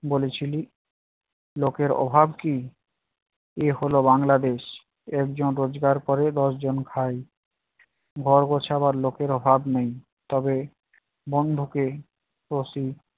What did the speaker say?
বলেছিলি লোকের অভাব কি? এ হলো বাংলাদেশ। একজন রোজগার করে দশজন খায়। ঘর গোছাবার লোকের অভাব নেই তবে বন্ধুকে তো সে